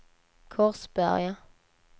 Korsberga